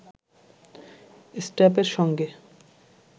স্ট্র্যাপের সঙ্গে